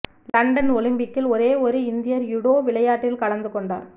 London ஒலிம்பிக்கில் ஒரே ஒரு இந்தியர் யுடோ விளையாட்டில் கலந்து கொண்டார்